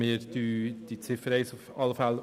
Wir unterstützen die Ziffer 1 auf jeden Fall.